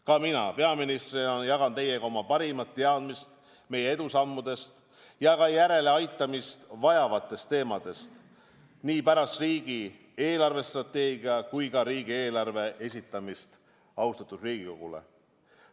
Ka mina peaministrina jagan teiega oma parimat teadmist meie edusammudest ja ka järeleaitamist vajavatest teemadest nii pärast riigi eelarvestrateegia kui ka riigieelarve esitamist austatud Riigikogule.